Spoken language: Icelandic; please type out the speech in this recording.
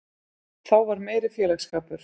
Þá var meiri félagsskapur.